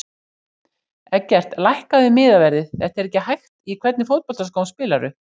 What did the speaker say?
Eggert lækkaðu miðaverðið þetta er ekki hægt Í hvernig fótboltaskóm spilar þú?